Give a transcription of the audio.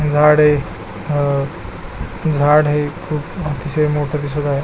झाडे अह झाड हे खुप अतिशय मोठं दिसत आहे.